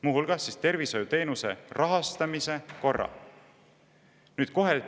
" Muu hulgas tervishoiuteenuste rahastamise korra!